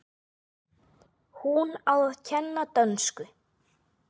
Hún á að kenna dönsku.